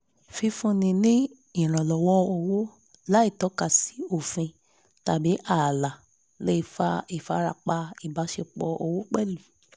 fífúnni ní ìrànlọ́wọ́ owó láìtọ́kasi òfin tàbí ààlà le fa ìfarapa ibáṣepọ̀ owó pẹ̀lú